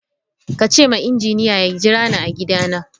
Ka ce ma injiniya ya jira ni a gidana.